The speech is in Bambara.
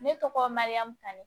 Ne tɔgɔ mariyamu tanu